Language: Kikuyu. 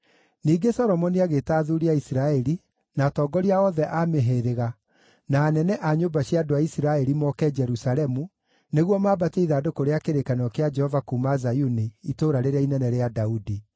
Ningĩ Solomoni agĩĩta athuuri a Isiraeli, na atongoria othe a mĩhĩrĩga, na anene a nyũmba cia andũ a Isiraeli, moke Jerusalemu nĩguo maambatie ithandũkũ rĩa kĩrĩkanĩro kĩa Jehova kuuma Zayuni, Itũũra rĩrĩa Inene rĩa Daudi.